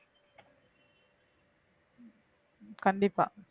கண்டிப்பா